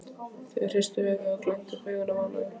og hristu höfuðið og glenntu upp augun af ánægju.